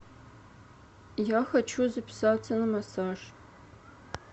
я хочу записаться на массаж